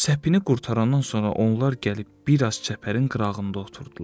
Səpini qurtarandan sonra onlar gəlib biraz çəpərin qırağında oturdular.